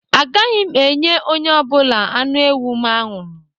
A gaghị m enye onye ọ bụla anụ ewu m anwụrụ